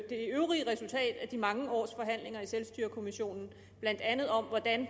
det øvrige resultat af de mange års forhandlinger i selvstyrekommissionen blandt andet om hvordan